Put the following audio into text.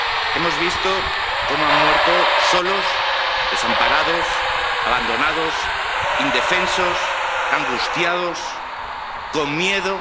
Hemos visto cómo han muerto solos, desamparados, abandonados, indefensos, angustiados, con miedo.